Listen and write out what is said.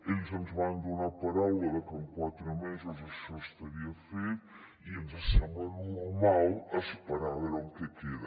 ells ens van donar paraula de que en quatre mesos això estaria fet i ens sembla normal esperar a veure en què queda